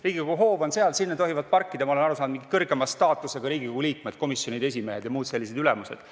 Riigikogu hoovi tohivad parkida, nagu ma olen aru saanud, mingid kõrgema staatusega Riigikogu liikmed, komisjonide esimehed ja muud sellised ülemused.